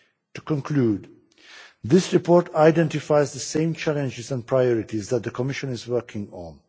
To conclude, this report identifies the same challenges and priorities that the Commission is working on.